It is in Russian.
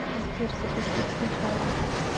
сбер запустить сначала